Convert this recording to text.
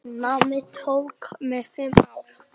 Námið tók mig fimm ár.